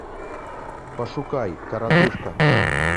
пошукай коротышка